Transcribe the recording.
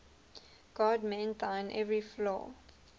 god mend thine every flaw